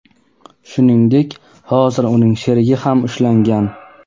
Shuningdek, hozir uning sherigi ham ushlangan.